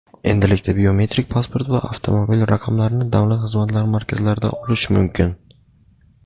Endilikda biometrik pasport va avtomobil raqamlarini Davlat xizmatlari markazlaridan olish mumkin.